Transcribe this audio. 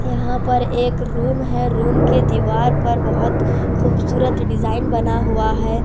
यहां पर एक रूम है रूम के दीवार पर बहोत खूबसूरत डिजाइन बना हुआ है।